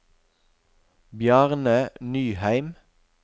Bjarne Nyheim